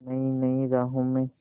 नई नई राहों में